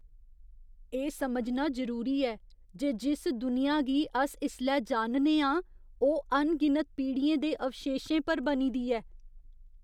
एह् समझना जरूरी ऐ जे जिस दुनिया गी अस इसलै जानने आं ओह् अनगिनत पीढ़ियें दे अवशेशें पर बनी दी ऐ।